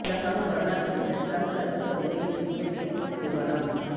உலகம் கொரோனா குறித்த டிரம்ப் கருத்து பதிவை நீக்கிய பேஸ்புக் நிறுவனம்